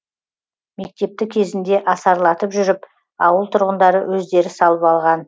мектепті кезінде асарлатып жүріп ауыл тұрғындары өздері салып алған